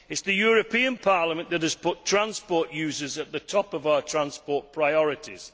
It is the European Parliament that has put transport users at the top of our transport priorities.